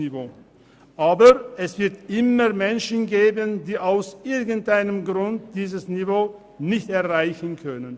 Aber es wird immer Menschen geben, die aus irgendeinem Grund dieses Niveau nicht erreichen können.